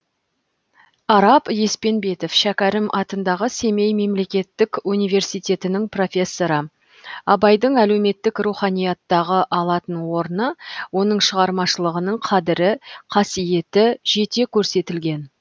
арап еспенбетов шәкәрім атындағы семей мемлекеттік университетінің профессоры абайдың әлеуметтік руханияттағы алатын орны оның шығармашылығының қадірі қасиеті жете көрсетілген